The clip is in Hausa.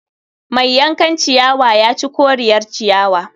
Mai yankan ciyawa ya ci koriyar ciyawa